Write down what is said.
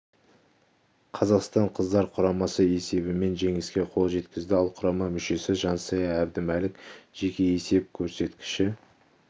қазақстан қыздар құрамасы есебімен жеңіске қол жеткізді ал құрама мүшесі жансая әбдімәлік жеке есеп көрсеткіші